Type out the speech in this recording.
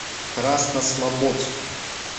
краснослободску